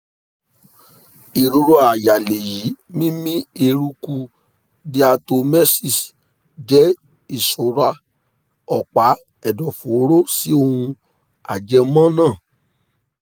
ìrora àyà lẹ́yìn mímí eruku diatomaceous jẹ́ ìsọra ọ̀pá ẹ̀dọ̀fóró sí ohun ajẹmọ́ náà